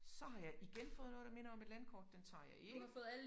Så har jeg igen fået noget der minder om et landkort den tager jeg ikke